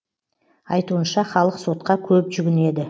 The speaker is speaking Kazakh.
айтуынша халық сотқа көп жүгінеді